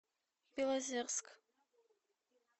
белозерск